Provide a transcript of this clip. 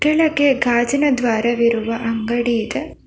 ಎಡಕ್ಕೆ ಗಾಜಿನ ದ್ವಾರವಿರುವ ಅಂಗಡಿ ಇದೆ.